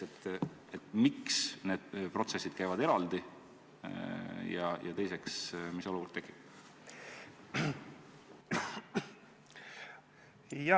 Esiteks, miks need protsessid käivad eraldi, ja teiseks, mis olukord tekib?